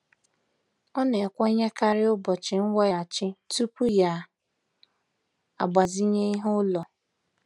Ọ na-ekwenyekarị ụbọchị nweghachi tupu ya agbazinye ihe ụlọ.